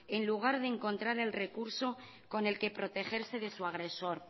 en lugar de encontrar el recurso con el que protegerse de su agresor